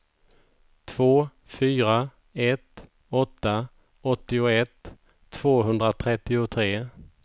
två fyra ett åtta åttioett tvåhundratrettiotre